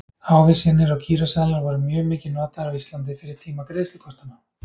ávísanir og gíróseðlar voru mjög mikið notaðir á íslandi fyrir tíma greiðslukortanna